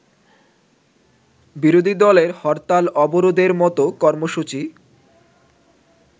বিরোধীদলের হরতাল-অবরোধের মতো কর্মসূচি